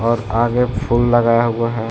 और आगे फूल लगाया हुआ है --